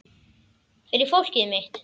Fyrir fólkið mitt.